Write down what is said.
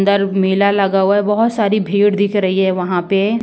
अंदर मेला लगा हुआ है। बहोत सारी भीड़ दिख रही हैं वहां पे ।